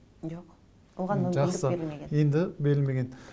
жоқ оған мүмкіндік берілмеген енді берілмеген